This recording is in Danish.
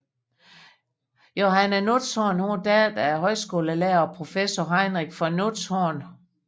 Johanne Nutzhorn var datter af højskolelærer og professor Heinrich von Nutzhorn